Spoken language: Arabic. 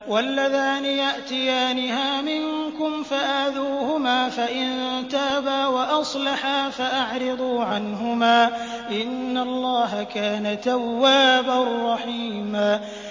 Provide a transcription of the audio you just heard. وَاللَّذَانِ يَأْتِيَانِهَا مِنكُمْ فَآذُوهُمَا ۖ فَإِن تَابَا وَأَصْلَحَا فَأَعْرِضُوا عَنْهُمَا ۗ إِنَّ اللَّهَ كَانَ تَوَّابًا رَّحِيمًا